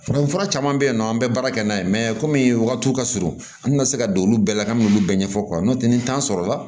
Farafinfura caman be yen nɔ an bɛ baara kɛ n'a ye kɔmi wagatiw ka surun an tɛna se ka don olu bɛɛ la k'an bɛ n'olu bɛɛ ɲɛfɔ n'o tɛ ni sɔrɔla la